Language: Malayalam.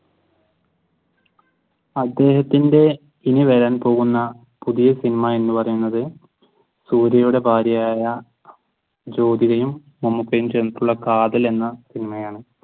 അദ്ദേഹത്തിന്റെ ഇനി വരാൻ പോകുന്ന പുതിയ സിനിമ എന്ന് പറയുന്നത് സൂര്യയുടെ ഭാര്യയായ ജ്യോതികയും മമൂക്കയും ചേർന്നിട്ടുള കാതിൽ എന്ന സിനിമയാണ്